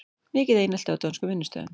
Mikið einelti á dönskum vinnustöðum